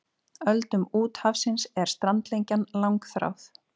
Öldum úthafsins er strandlengjan langþráð.